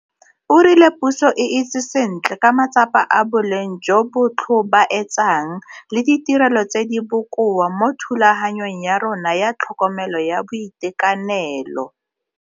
O rile puso e itse sentle ka matsapa a boleng jo bo tlho baetsang le ditirelo tse di bokowa mo thulaganyong ya rona ya tlhokomelo ya boitekanelo.